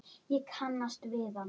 Ég kannast við hann.